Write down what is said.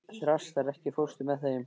Þrastar, ekki fórstu með þeim?